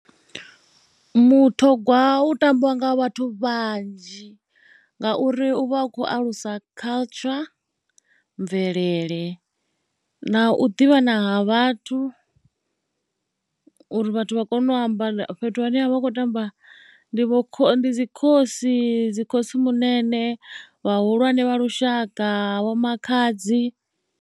Mutogwa u tambiwa nga vhathu vhanzhi ngauri u vha a khou alusa culture, mvelele na u ḓivhana ha vhathu uri vhathu vha kone u amba fhethu hune ha vha hu khou tambiwa ndi vho kho, ndi dzi khosi, dzi khotsimunene vhahulwane vha lushaka, vho makhadzi.